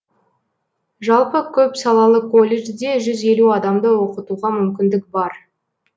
жалпы көпсалалы колледжде жүз елу адамды оқытуға мүмкіндік бар